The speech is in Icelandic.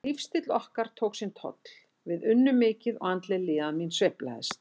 Lífsstíll okkar tók sinn toll, við unnum mikið og andleg líðan mín sveiflaðist.